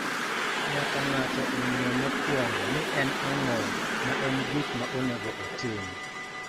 Nyaka ng�ato ong�e mokuongo ni en ang�o ma en gik ma onego otim.